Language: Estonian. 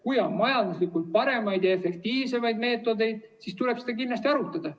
Kui on majanduslikult paremaid ja efektiivsemaid meetodeid, siis tuleb neid kindlasti arutada.